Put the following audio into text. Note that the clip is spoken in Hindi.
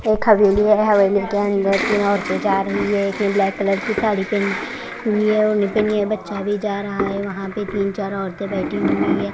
एक हवेली है हवेली के अंदर तीन औरतें जा रही है एक ब्लॅक कलर की साड़ी पहनी है और पनी है बच्चा भी जा रहा है वहां पे तीन चार औरतें बैठी हुई हैं।